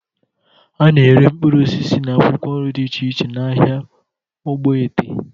A na-ere mkpụrụ osisi na akwụkwọ nri dị iche iche n'ahịa ogboete.